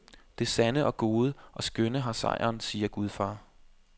Det sande og gode og skønne har sejren, siger gudfar.